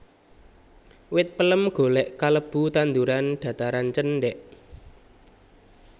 Wit pelem golèk kalebu tanduran dhataran cendhèk